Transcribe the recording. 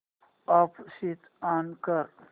app switch on कर